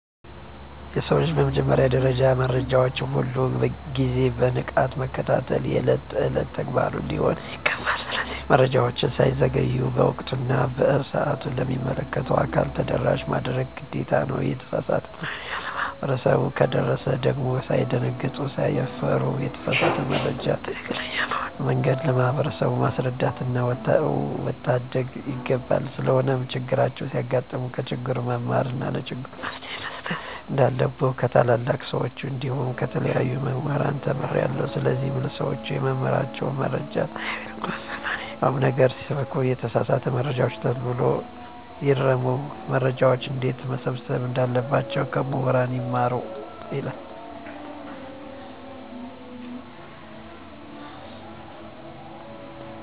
የሰው ልጅ በመጀመሪያ ደረጃ መረጃዎችን ሁል ግዜ በንቃት መከታተል የእለት እለት ተግባሩ ሊሆን ይገባል። ስለዚህ መረጃወች ሳይዘገዩ በወቅቱ እና በሰአቱ ለሚመለከተው አካል ተደራሽ ማድረግ ግዴታ ነው። የተሳሳተ መረጃ ለማህበረሰቡ ከደረሰ ደግም ሳይደነግጡ ሳይፈሩ የተሳሳተውን መረጃ ትክክለኛ በሆነ መንገድ ለማህበረሰቡ ማስረዳትና መታደግ ይገባል። ስለሆነም ቸግር ሲያጋጥም ከችግሩ መማርና ለችግሩ መፈትሄ መስጠት እንንዳለብኝ ከታላላቅ ሰወች እንዲሁም ከተለያዩ ሙህራን ተምሬአለሁ። ስለዚህ ለሰወች የምመክራቸው መረጃወችን ሳይንቁ ከማንኛው ነገር ይሰብስቡ የተሳሳተ መረጃወችን ተሎ ብለው ይርሙ። መረጃወችን እንዴትመሰብሰብ እንዳለባቸው ከሙህራን ይማሩ።